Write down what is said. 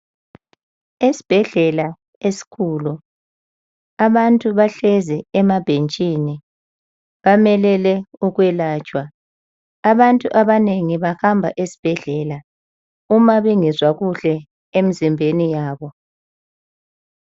Esibhedlela esikhulu, abantu bahlezi emabhentshini, bamelele ukwelatshwa. Abantu abanengi bahamba esibhedlela uma bengezwa kuhle emzimbeni yabo.